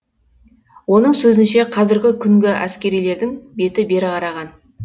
оның сөзінше қазірігі күні әскерилердің беті бері қараған